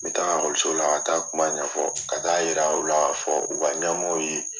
N bɛ taa okɔliso la ka taa a kuma ɲɛfɔ ka taa yira u la k'a fɔ u ka ɲamɔgɔw ye